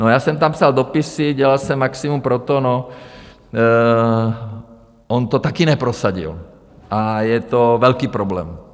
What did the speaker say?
No, já jsem tam psal dopisy, dělal jsem maximum pro to - on to taky neprosadil a je to velký problém.